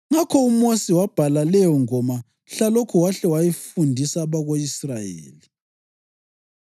Ngakho uMosi wabhala leyongoma mhlalokho wahle wayifundisa abako-Israyeli.